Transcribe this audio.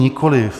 Nikoliv.